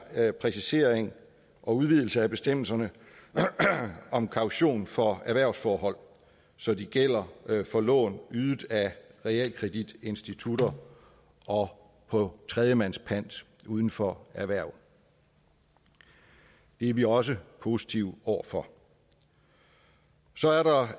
er præcisering og udvidelse af bestemmelserne om kaution for erhvervsforhold så de gælder for lån ydet af realkreditinstitutter og på tredjemands pant uden for erhverv det er vi også positive over for så er der